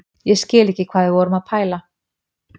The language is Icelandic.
Ég skil ekki hvað við vorum að pæla.